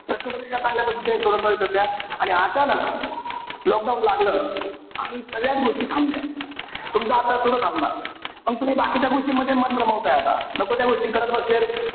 प्रश्न पत्रिका चांगल्या पद्धतीने सोडवता येत होत्या. आणि अचानक lockdown लागलं. आणि सगळ्याच गोष्टी थांबल्या. तुमचा अभ्यास सुद्धा थांबला. मग तुम्ही बाकीच्या गोष्टींमध्ये मन रमवताय आता. नको त्या गोष्टी करत बसलेत.